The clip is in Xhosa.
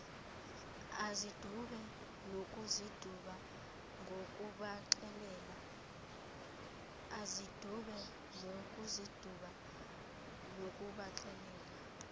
azidube nokuziduba ngokubaxelela